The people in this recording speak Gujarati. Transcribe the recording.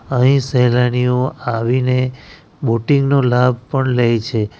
અહીં શેલાનીઓ આવીને બોટિંગ નું લાભ પણ લે છે.